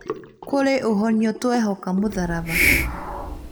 Kũrĩ ũhonio twehoka mũtharaba